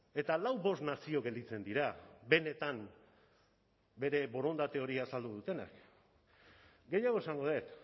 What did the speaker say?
eta lau bost nazio gelditzen dira benetan bere borondate hori azaldu dutenak gehiago esango dut